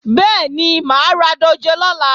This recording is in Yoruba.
Bẹ́ẹ̀ni, mà á ra dòjé lọ́la